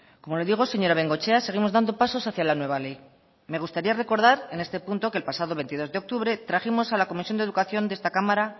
como le digo señora bengoechea seguimos dando pasos hacia la nueva ley me gustaría recordar en este punto que el pasado veintidós de octubre trajimos a la comisión de educación de esta cámara